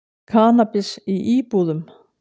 Kannabis í íbúðum